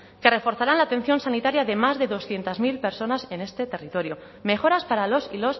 que reforzarán la atención sanitaria de más de doscientos mil personas en este territorio mejoras para las y